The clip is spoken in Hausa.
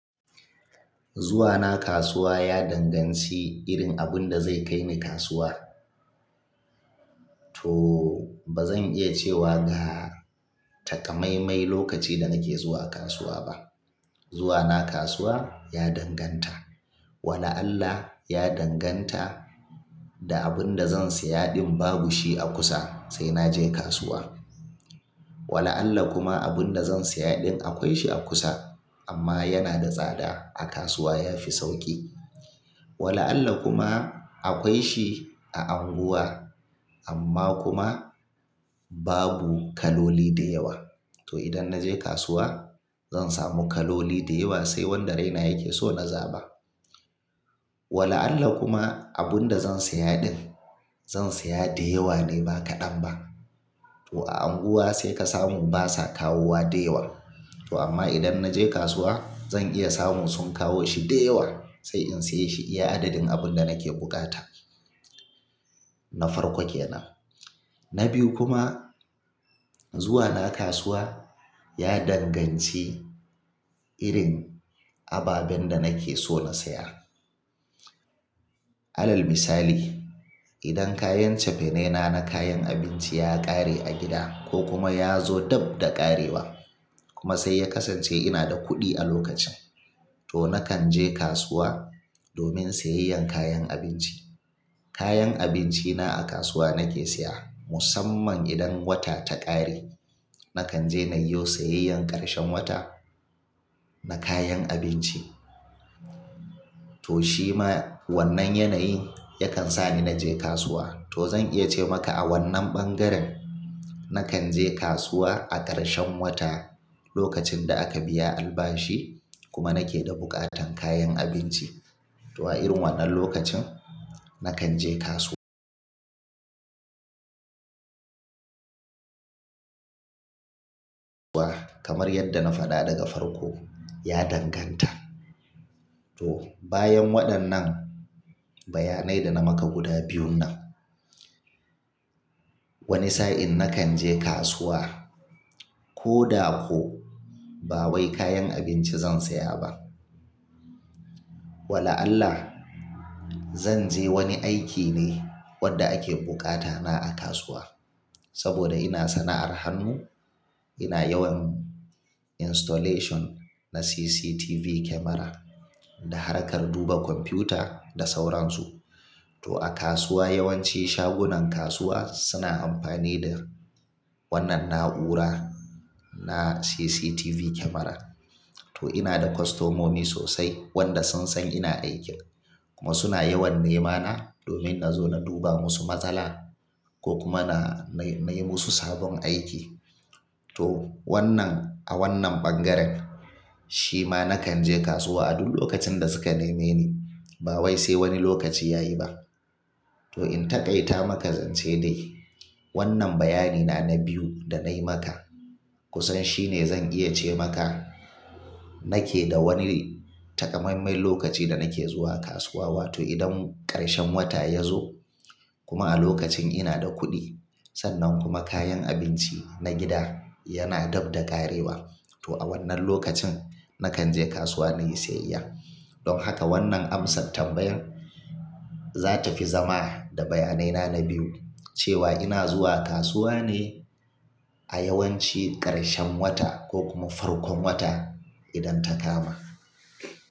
Zuwa na kasuwa ya danganci irin abun da zai kai ni kasuwa. To ba zan iya cewa ga takamaimai lokaci da nake zuwa kasuwa ba. Zuwa na kasuwa ya danganta. Wala Allah ya danganta da abun da zan siya din babu shi a kusa sai na je kasuwa. Wala Allah kuma abun da zan saya din akwai shi a kusa amma yana da tsada a kasuwa ya fi sauki. Wala Allah kuma akwai shi a Anguwa amma kuma babu kaloli da yawa. To idan na je kasuwa zan samu kaloli da yawa sai wanda raina yake so na zaba. Wala Allah kuma abun da zan saya din zan saya da yawa ne ba kaɗan ba. To Anguwa sai ka samu basa kawowa da yawa. To amma idan na je kasuwa zan iya samu sun kawo shi da yawa sai in siya shi iya adadin abun da nake bukata na farko kenan. Na biyu kuma zuwa na kasuwa ya danganci irin ababen da nake so na saya. Alal misali, idan kayan cefene na na kayan abinci ya ƙare a gida ko kuma ya zo dab da ƙarewa kuma sai ya kasance ina da kuɗi a lokacin to nakan je kasuwa domin siyayyan kayan abinci. Kayan abinci na a kasuwa nake siya musamman idan wata ta ƙare nakan je na yiwo siyayyan ƙarshen wata na kayan abinci. To shi ma wannan yanayi yakan sa ni na je kasuwa. To zan iya ce maka a wannan bangaren nakan je kasuwa a ƙarshen wata lokacin da aka biya albashi kuma nake da buƙatan kayan abinci. To a irin wannan lokacin nakan je kasuwa. Kamar yadda na faɗa daga farko ya danganta. To bayan waɗannan bayanai da na maka guda biyun nan. Wani sa'in nakan je kasuwa ko da ko ba wai kayan abinci zan saya ba. Wala Allah, zan je wani aiki ne wanda ake bukata na a kasuwa. Saboda ina sana'ar hannu ina yawan installation na CCTV camera da harkar duba kwamfuta da sauransu. To a kasuwa yawanci shagunan kasuwa suna amfani da wannan na'ura na CCTV camera. To ina da kostomomi sosai wanda sun san ina aiki kuma suna yawan nema na domin na zo na duba musu matsala ko kuma na, na yi musu sabon aiki. To wannan a wannan bangaren shi ma nakan je kasuwa a duk lokacin da suka neme ni ba wai sai wani lokaci ya yi ba. To in taƙaita maka zance dai wannan bayani na na biyu da na yi maka kusan shine zan iya ce maka nake da wani takamaimai lokacin da nake zuwa kasuwa. Wato idan ƙarshen wata ya zo kuma a lokacin ina da kuɗi sannan kuma kayan abinci na gida yana dab da ƙarewa. To a wannan lokacin nakan je kasuwa na yi siyayya. Don haka wannan amsatr ambayan za ta fi zama da bayanai na na biyu cewa ina zuwa kasuwa ne a yawanci ƙarshen wata ko kuma farkon wata idan ta kama.